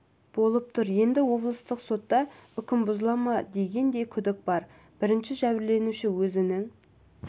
болып тұр енді облыстық сотта үкім бұзыла ма деген де күдік бар бірінші жәбірленуші өзінің